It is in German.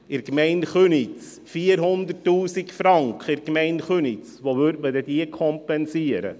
Wo würde man denn in der Gemeinde Köniz 400 000 Franken kompensieren?